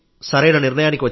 సరిగ్గా సమాధానమిచ్చాం